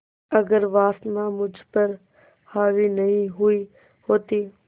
अगर वासना मुझ पर हावी नहीं हुई होती